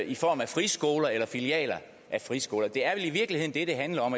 i form af friskoler eller filialer af friskoler det er i virkeligheden det det handler om